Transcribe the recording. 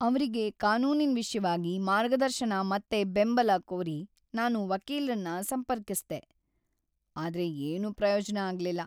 ಅವ್ರಿಗೆ ಕಾನೂನಿನ್ ವಿಷ್ಯವಾಗಿ ಮಾರ್ಗದರ್ಶನ ಮತ್ತೆ ಬೆಂಬಲ ಕೋರಿ ನಾನು ವಕೀಲ್ರನ್ನ ಸಂಪರ್ಕಿಸ್ದೆ, ಆದ್ರೆ ಏನೂ ಪ್ರಯೋಜ್ನ ಆಗ್ಲಿಲ್ಲ!